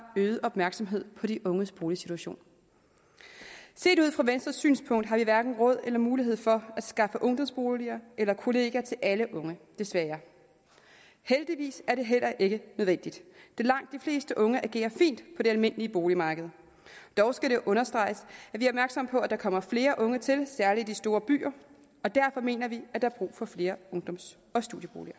øget opmærksomhed på de unges boligsituation set ud fra venstres synspunkt har vi hverken råd eller mulighed for at skaffe ungdomsboliger eller kollegier til alle unge desværre heldigvis er det heller ikke nødvendigt da langt de fleste unge agerer fint på det almindelige boligmarked dog skal det understreges at på at der kommer flere unge til særlig i de store byer og derfor mener vi at der er brug for flere ungdoms og studieboliger